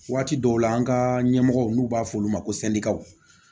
Waati dɔw la an ka ɲɛmɔgɔ n'u b'a fɔ olu ma ko sɛndikaw